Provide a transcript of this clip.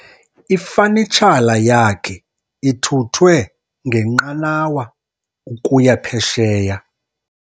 Ifanitshala yakhe ithuthwe ngenqanawa ukuya phesheya.